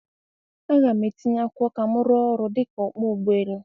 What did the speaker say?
A ga m etinye akwụkwọ ka m rụọ ọrụ dịka ọkpọ ụgbọ elu